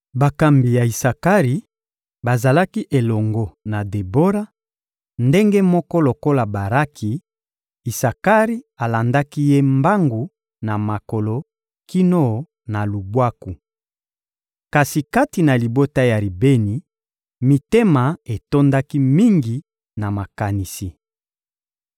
Bakambi ya Isakari bazalaki elongo na Debora; ndenge moko lokola Baraki, Isakari alandaki ye mbangu na makolo kino na lubwaku. Kasi kati na libota ya Ribeni, mitema etondaki mingi na makanisi.